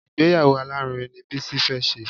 Ìgbéyàwó alárinrin ni Bísí fẹ́ ṣe